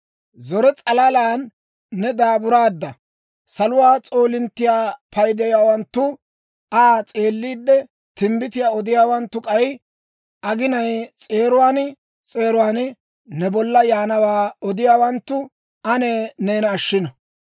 Zore s'alalan ne daaburaadda. Saluwaa s'oolinttiyaa paydiyaawanttu, Aa s'eelliide timbbitiyaa odiyaawanttu, k'ay, aginaa s'eeruwaan s'eeruwaan ne bollan yaanawaa odiyaawanttu ane neena ashshino.